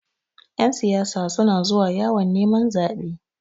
Ƴan siyasa suna zuwa yawon neman zaɓe.